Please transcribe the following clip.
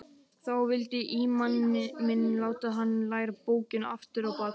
Þá vildi ímaminn láta hann læra bókina aftur á bak.